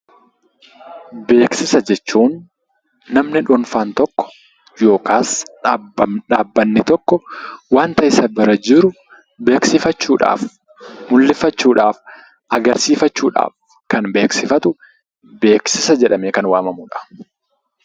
Beeksisa jechuun namni dhuunfaan tokko yookaas dhaabbatni tokko waanta isa bira jiru beeksifachuudhaaf, mul'ifachuudhaaf, agarsiifachuudhaaf kan beeksifatu beeksisa jedhamee kan waamamudha.